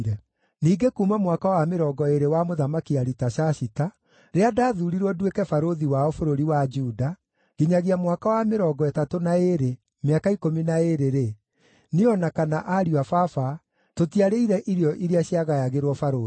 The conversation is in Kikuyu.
Ningĩ kuuma mwaka wa mĩrongo ĩĩrĩ wa Mũthamaki Aritashashita, rĩrĩa ndathuurirwo nduĩke barũthi wao bũrũri wa Juda, nginyagia mwaka wa mĩrongo ĩtatũ na ĩĩrĩ, mĩaka ikũmi na ĩĩrĩ-rĩ, niĩ o na kana ariũ a baba, tũtiarĩire irio iria ciagayagĩrwo barũthi.